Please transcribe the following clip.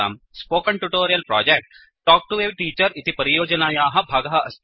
spoken tutorial project talk to a teacher इति परियोजनायाः भागः अस्ति